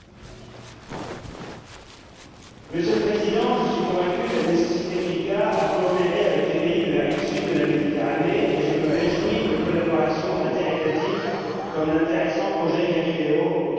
Monsieur le Président, je suis convaincu de la nécessité qu'il y a à coopérer avec les pays de la rive sud de la Méditerranée et je me réjouis de l'établissement d'une collaboration interétatique, notamment de l'intéressant projet GALILEO auquel le Maroc est associé depuis bientôt dix ans.